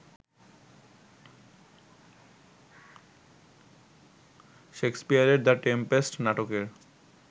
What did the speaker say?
শেক্সপিয়রের ‘The Tempest’ নাটকের